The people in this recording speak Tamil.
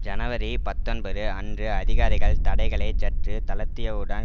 ஜனவரி பத்தொன்பது அன்று அதிகாரிகள் தடைகளை சற்று தளர்த்தியவுடன்